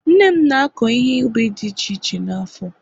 nne m na-akọ ihe ubi dị iche iche n'afo